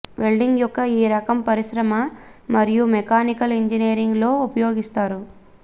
welding యొక్క ఈ రకం పరిశ్రమ మరియు మెకానికల్ ఇంజనీరింగ్ లో ఉపయోగిస్తారు